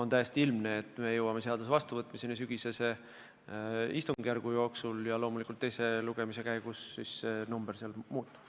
On täiesti ilmne, et me jõuame seaduse vastuvõtmiseni alles sügisese istungjärgu jooksul ja loomulikult teise lugemise käigus see kuupäev muutub.